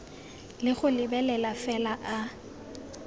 le go lebelela fela a